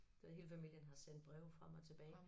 Så hele familien har sendt breve frem og tilbage